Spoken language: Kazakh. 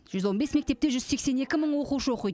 жүз он бес мектепте жүз сексен екі мың оқушы оқиды